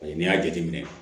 N'i y'a jateminɛ